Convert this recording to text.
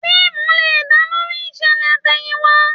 Fíìmù lè dá lórí ìṣẹ̀lẹ̀ àtẹ̀yìnwá